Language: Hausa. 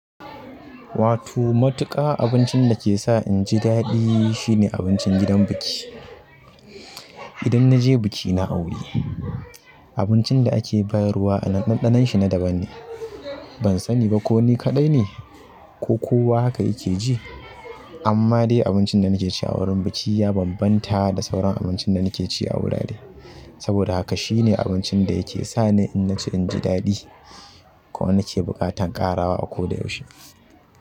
Wato matuƙa abincin da ke sa inji daɗi shine abincin gidan biki. Idan naje biki na aure abincin da ake bayarwa ɗanɗanon shi na daban ne ban sani ba ko ni kaɗai ne ko kowa haka yake ji amma dai abincin da nake ci a wurin biki ya bambanta da sauran abincin da nake ci a wurare. Saboda haka shine abincin da yake sa ni in ji daɗi ko inake buƙatan ƙarawa a koda yaushe.